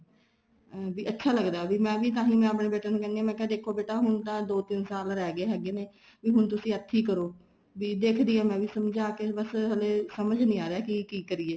ਵੀ ਅੱਛਾ ਲੱਗਦਾ ਏ ਵੀ ਮੈਂ ਤਾਂਹੀ ਆਪਣੇ ਬੇਟੇ ਨੂੰ ਕਹਿੰਦੀ ਹਾਂ ਦੇਖੋ ਬੇਟਾ ਹੁਣ ਤਾਂ ਦੋ ਤਿੰਨ ਤਾਂ ਸਾਲ ਰਹਿ ਗਏ ਹੈਗੇ ਨੇ ਵੀ ਹੁਣ ਤੁਸੀਂ ਇੱਥੇ ਹੀ ਕਰੋ ਵੀ ਦੇਖਦੀ ਆ ਮੈਂਵੀ ਸਮਝਾਕੇ ਬੱਸ ਹਲੇ ਸਮਝ ਨਹੀਂ ਆ ਰਿਹਾ ਕੀ ਕੀ ਕਰੀਏ